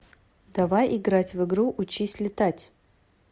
давай играть в игру учись летать